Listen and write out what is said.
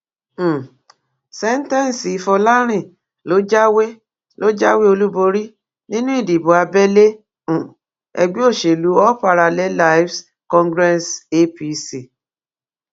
um sèǹtẹsíl fọlárin ló jáwé ló jáwé olúborí nínú ìdìbò abẹlé um ègbé òsèlú all parallelives congress apc